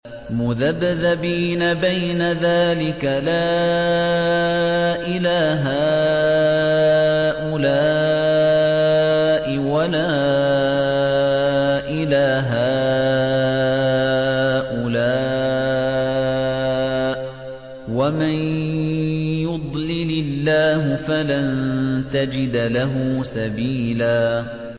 مُّذَبْذَبِينَ بَيْنَ ذَٰلِكَ لَا إِلَىٰ هَٰؤُلَاءِ وَلَا إِلَىٰ هَٰؤُلَاءِ ۚ وَمَن يُضْلِلِ اللَّهُ فَلَن تَجِدَ لَهُ سَبِيلًا